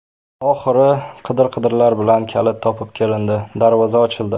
Oxiri qidir-qidirlar bilan kalit topib kelindi, darvoza ochildi.